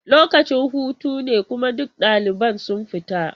Lokacin hutu ne kuma duk ɗaliban sun fita.